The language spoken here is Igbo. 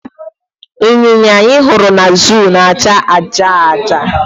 Ịnyịnya anyị hụrụ na zoo na acha ájá ájá